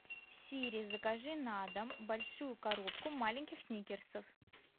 сири закажи на дом большую коробку маленьких сникерсов